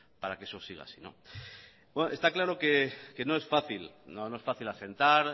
para que eso siga así está claro que no es fácil asentar